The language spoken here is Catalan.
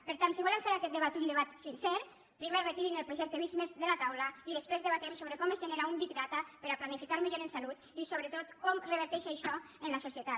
per tant si volem fer d’aquest debat un debat sincer primer retirin el projecte visc+ de la taula i després debatem sobre com es genera un big datanificar millor en salut i sobretot com reverteix això en la societat